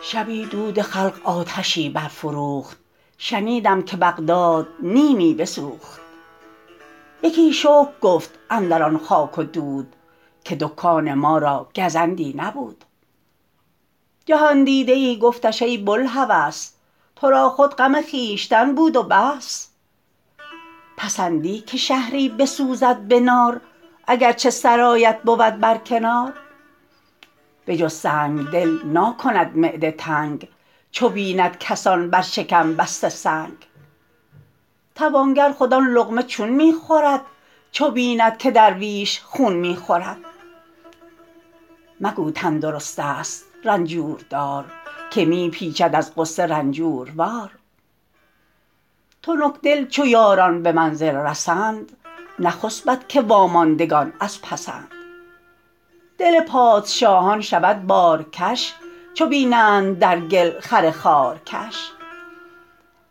شبی دود خلق آتشی برفروخت شنیدم که بغداد نیمی بسوخت یکی شکر گفت اندران خاک و دود که دکان ما را گزندی نبود جهاندیده ای گفتش ای بوالهوس تو را خود غم خویشتن بود و بس پسندی که شهری بسوزد به نار اگر چه سرایت بود بر کنار به جز سنگدل ناکند معده تنگ چو بیند کسان بر شکم بسته سنگ توانگر خود آن لقمه چون می خورد چو بیند که درویش خون می خورد مگو تندرست است رنجور دار که می پیچد از غصه رنجوروار تنکدل چو یاران به منزل رسند نخسبد که واماندگان از پسند دل پادشاهان شود بارکش چو بینند در گل خر خارکش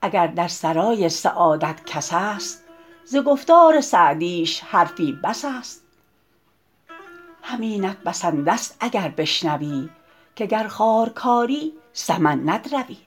اگر در سرای سعادت کس است ز گفتار سعدیش حرفی بس است همینت بسنده ست اگر بشنوی که گر خار کاری سمن ندروی